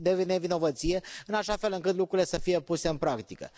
de nevinovăție, în așa fel încât lucrurile să fie puse în practică.